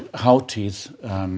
hátíð